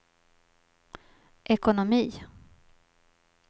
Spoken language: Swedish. ekonomi